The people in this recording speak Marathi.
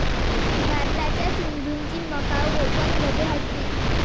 भारताच्या सिंधूची मकाऊ ओपनमध्ये हॅटट्रिक